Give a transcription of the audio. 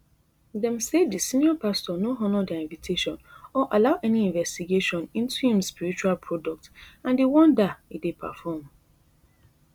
dem say di senior pastor no honour dia invitation or allow any investigation into im spiritual products and di wonder e dey perform